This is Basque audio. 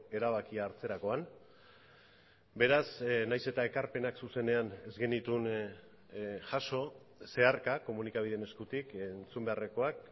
erabakia hartzerakoan beraz nahiz eta ekarpenak zuzenean ez genituen jaso zeharka komunikabideen eskutik entzun beharrekoak